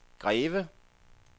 Greve